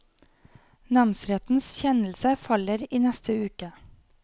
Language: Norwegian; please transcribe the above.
Namsrettens kjennelse faller i neste uke.